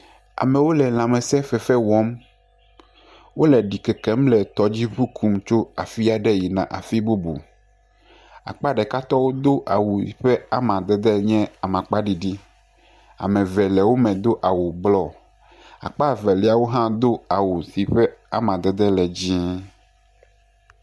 Amewo le lãmesẽ fefe wɔm, wole ɖikekem le tɔdzi kum tso afi aɖe yina afi bubu, akpa ɖekatɔwo do awu si ƒe amadede nye amakpa ɖiɖi, ame eve le wo me do awu blɔ, akpa evelia do awu sike ƒe amadede le dzɛ̃e.